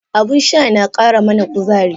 Abun sha na kara mana kuzari.